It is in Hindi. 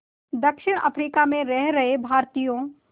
दक्षिण अफ्रीका में रह रहे भारतीयों